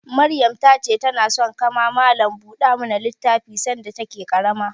Maryam ta ce ta na son ka ma malam buɗe littafi sanda ta ke ƙarama